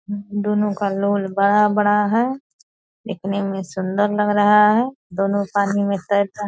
दोनों का लोल बड़ा-बड़ा है। देखने में सुंदर लग रहा है। दोनों पानी में तैरता --